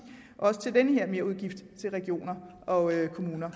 også til den her merudgift til regioner og kommuner